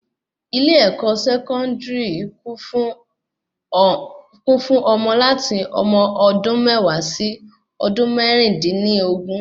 ilé-ẹ̀kọ́ Sẹkọndiri kún fún ọmọ láti ọmọ ọdún méwàá sí ọdún mẹrin din ni ogún